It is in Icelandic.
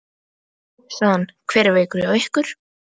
Nú, sagði hann, hver er veikur hjá ykkur?